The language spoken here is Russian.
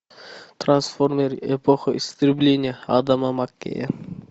трансформеры эпоха истребления адама маккея